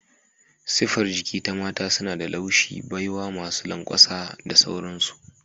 Siffar jiki ta Mata suna da laushi, baiwa, masu lanƙwasa da sauransu.